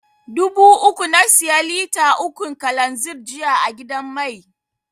Dubu uku na siya lita ukun kalanzir jiya a gidan mai.